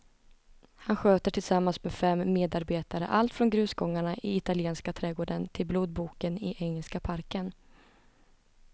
Han sköter tillsammans med fem medarbetare allt från grusgångarna i italienska trädgården till blodboken i engelska parken.